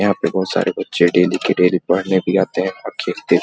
यहाँ पे बहुत सारे बच्चे डेली के डेली पढ़ने भी आते हैं और खेलते --